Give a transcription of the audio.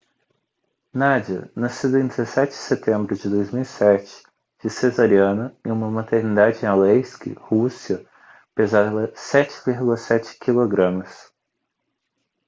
nadia nascida em 17 de setembro de 2007 de cesariana em uma maternidade em aleisk rússia pesava 7,7 kg